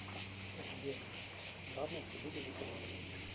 сбер главное событие декабрист